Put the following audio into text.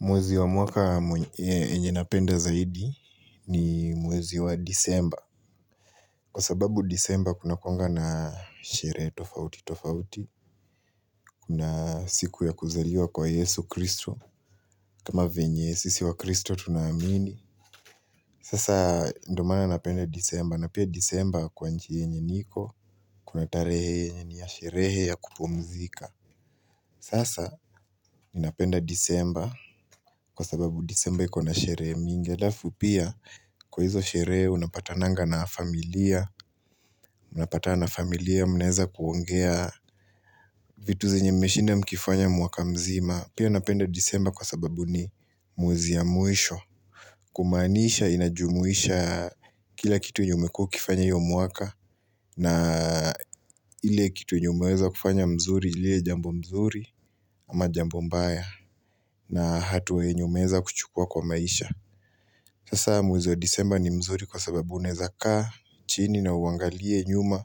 Mwezi wa mwaka yenye napenda zaidi ni mwezi wa Desemba. Kwa sababu Desemba kunakuanga na sherehe tofauti tofauti. Kuna siku ya kuzaliwa kwa Yesu Kristo. Kama venye sisi wakristo tunaamini. Sasa ndio maana napenda Desemba. Na pia Desemba kwa nchi yenye niko. Kuna tarehe yenye ni ya sherehe ya kupumzika. Sasa ninapenda Desemba. Kwa sababu Desemba iko na sherehe mingi. Halafu pia kwa hizo sherehe unapatananga na familia, unapatana na familia mnaweza kuongea vitu zenye mmeshinda mkifanya mwaka mzima. Pia napenda Desemba kwa sababu ni mwezi ya mwisho. Kumaanisha inajumuisha kila kitu yenye umekuwa ukifanya hiyo mwaka na ile kitu yenye umeweza kufanya mzuri, iliyo jambo mzuri ama jambo mbaya na hatua yenye umeweza kuchukua kwa maisha. Sasa mwezi wa Desemba ni mzuri kwa sababu unaweza kaa chini na uangalie nyuma,